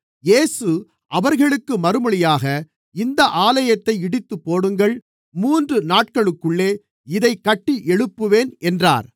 இயேசு அவர்களுக்குப் மறுமொழியாக இந்த ஆலயத்தை இடித்துப்போடுங்கள் மூன்று நாட்களுக்குள்ளே இதை கட்டி எழுப்புவேன் என்றார்